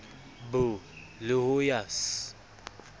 b le ho ya c